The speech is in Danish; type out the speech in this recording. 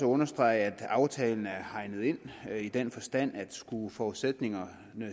understrege at aftalen er hegnet ind i den forstand at skulle forudsætningerne